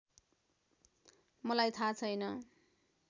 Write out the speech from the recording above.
मलाई थाहा छैन